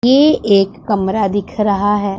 ये एक कमरा दिख रहा है।